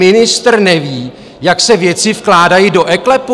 Ministr neví, jak se věci vkládají do eKLEPu?